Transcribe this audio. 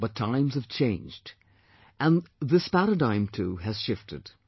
But times have changed and this paradigm too has shifted